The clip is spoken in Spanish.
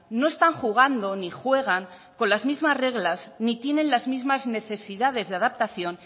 no están jugando ni juegan con las mismas reglas ni tienen las mismas necesidades de adaptación